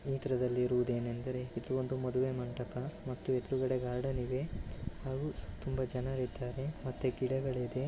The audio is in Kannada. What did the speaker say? ಸ್ನೆಹಿತರೆ ಇದ್ರಲ್ಲಿ ಇರೊದು ಏನೆಂದ್ರೆ ಇದೊಂದು ಮದುವೆ ಮಂಟಪ ಮತ್ತೆ ಎದುರುಗಡೆ ಗಾರ್ಡನ ಇದೆ ಹಾಗು ತುಂಬಾ ಜನ ಇದ್ದಾರೆ ಮತ್ತೆ ಗಿಡಗಳಿದೆ .